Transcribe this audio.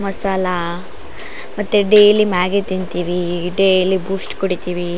ಮಸಾಲಾ ಮತ್ತೆ daily Maggi ತಿಂತೀವಿ daily Boost ಕುಡಿತೀವಿ --